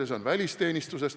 See on välisteenistus.